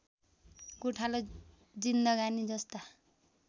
गोठालो जिन्दगानी जस्ता